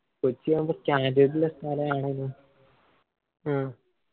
കൊച്ചി ആവുമ്പൊ standard ഉള്ള സ്ഥലാണല്ലോ